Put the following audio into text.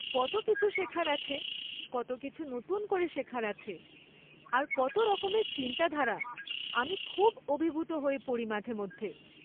কত কিছু শেখার আছে, কত কিছু নতুন করে শেখার আছে, আর কত রকমের চিন্তাধারা, আমি খুব অভিভূত হয়ে পড়ি মাঝেমধ্যে।